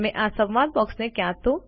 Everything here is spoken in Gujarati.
તમે આ સંવાદ બોક્સને ક્યાં તો